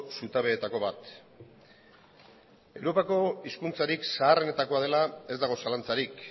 zutabeetako bat europako hizkuntzarik zaharrenetako bat dela ez dago zalantzarik